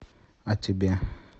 а тебе